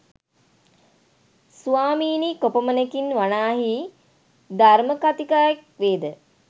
සවාමීනි කොපමණකින් වනාහි ධර්‍මකථිකයෙක් වේද?